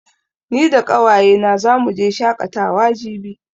Ni da ƙawaye na zamu je shaƙatawa jibi